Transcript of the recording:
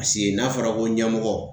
Paseke n'a fɔra ko ɲɛmɔgɔ